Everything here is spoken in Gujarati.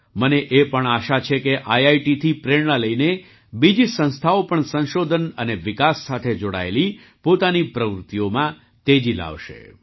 મને એ પણ આશા છે કે આઈઆઈટીથી પ્રેરણા લઈને બીજી સંસ્થાઓ પણ સંશોધન અને વિકાસ સાથે જોડાયેલી પોતાની પ્રવૃત્તિઓમાં તેજી લાવશે